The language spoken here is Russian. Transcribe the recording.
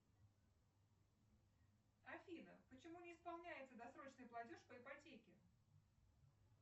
афина почему не исполняется досрочный платеж по ипотеке